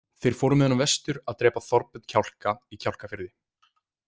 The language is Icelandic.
Þeir fóru með honum vestur að drepa Þorbjörn kjálka í Kjálkafirði.